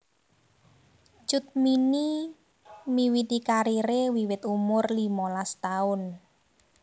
Cut Mini miwiti karire wiwit umur limolas taun